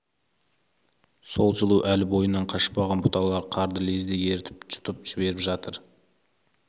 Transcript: сол жылу әлі бойынан қашпаған бұталар қарды лезде ерітіп жұтып жіберіп жатыр